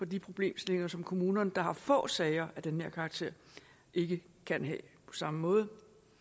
de problemstillinger som kommuner der har få sager af den her karakter ikke kan have på samme måde